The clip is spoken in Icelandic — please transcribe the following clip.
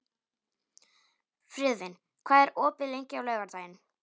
Friðvin, hvað er opið lengi á laugardaginn?